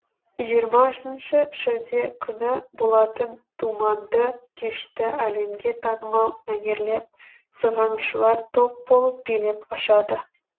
жиырмасыншы шілде күні болатын думанды кешті әлемге танымал мәнерлеп сырғанаушылар топ болып билеп ашады